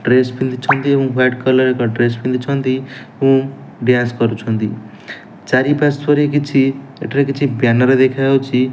Dress ପିନ୍ଧିଛନ୍ତି ଏବଂ white colour ଏକ ଡ୍ରେସ୍ ପିନ୍ଧିଛନ୍ତି ଉଁ ଡ୍ୟାନ୍ସ୍ କରୁଛନ୍ତି ଚାରିପାର୍ଶ୍ଵରେ କିଛି ଏଠାରେ କିଛି ବ୍ୟାନର୍ ଦେଖାଯାଉଛି।